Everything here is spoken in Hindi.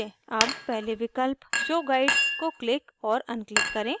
अब पहले विकल्प show guides को क्लिक और अनक्लिक करें